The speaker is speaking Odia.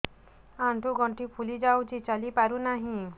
ଆଂଠୁ ଗଂଠି ଫୁଲି ଯାଉଛି ଚାଲି ପାରୁ ନାହିଁ